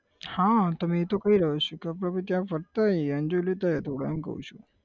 હા તમને એ તો કહી રહ્યો છું કે આપણે આપણે ત્યાં ફરતા આઇયે enjoy લેતા આઇયે થોડો એમ કહું છું.